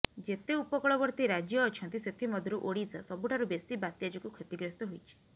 ଯେତେ ଉପକୂଳବର୍ତ୍ତୀ ରାଜ୍ୟ ଅଛନ୍ତି ସେଥି ମଧ୍ୟରୁ ଓଡିଶା ସବୁଠାରୁ ବେଶି ବାତ୍ୟା ଯୋଗୁଁ କ୍ଷତିଗ୍ରସ୍ତ ହୋଇଛି